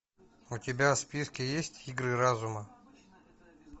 у тебя в списке есть игры разума